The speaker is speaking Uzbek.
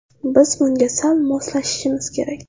Biz bunga sal moslashishimiz kerak.